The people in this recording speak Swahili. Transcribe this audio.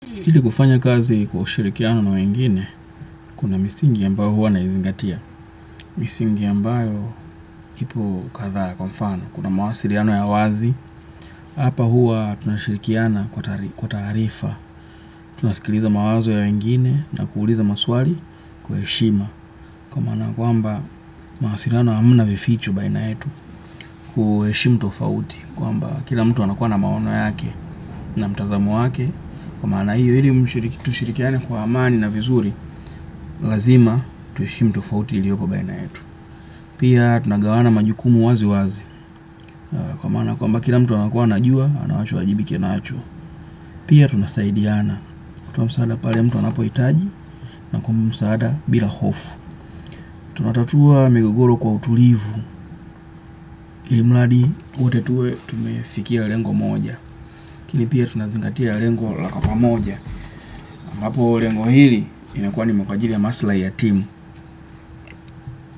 Ili kufanya kazi kwa ushirikiano na wengine, kuna misingi ambayo huwa naizingatia. Misingi ambayo ipo kadhaa kwa mfano kuna mawasiliano ya wazi. Hapa huwa tunashirikiana kwa taarifa. Tunasikiliza mawazo ya wengine na kuuliza maswali kwa heshima. Kwamba, mawasiliano hamna vificho baina yetu. Kuheshimu tofauti. Kwamba kila mtu anakuwa na maono yake na mtazamo wake. Kwa maana hiyo ili tushirikiane kwa amani na vizuri. Lazima tuheshimu tofauti iliopo baina yetu. Pia tunagawana majukumu wazi wazi. Kwa maana kwamba kila mtu anakuwa anajua anawachowajibika nacho. Pia tunasaidiana kutoa msaada pale mtu anapohitaji na kumpa msaada bila hofu. Tunatatua migogoro kwa utulivu. Ilimradi wote tuwe tumefikia lengo moja ili pia tunazingatia lengo la pamoja aMbapo lengo hili inakuwa ni ajili ya masilahi ya timu.